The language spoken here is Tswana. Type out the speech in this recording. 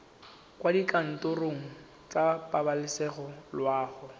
kwa dikantorong tsa pabalesego loago